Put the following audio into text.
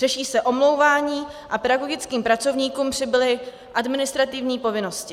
Řeší se omlouvání a pedagogickým pracovníkům přibyly administrativní povinnosti.